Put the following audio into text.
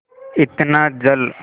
इतना जल